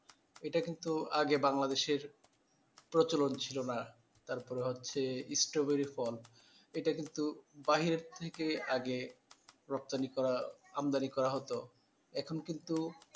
এটা কিন্তু আগে বাংলাদেশের প্রচলন ছিল না তারপর হচ্ছে ইস্ট্রবেরি ফল এটা কিন্তু বাইরের থেকে আগে রপ্তানি করা, আমদানি করা হতো এখন কিন্তু,